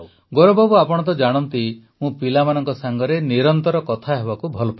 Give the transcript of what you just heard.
ଗୌରବ ବାବୁ ଆପଣ ତ ଜାଣନ୍ତି ମୁଁ ପିଲାମାନଙ୍କ ସାଙ୍ଗରେ ନିରନ୍ତର କଥା ହେବାକୁ ଭଲ ପାଏ